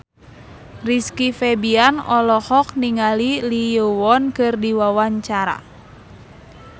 Rizky Febian olohok ningali Lee Yo Won keur diwawancara